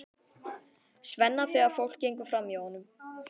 Svenna þegar fólk gengur framhjá honum.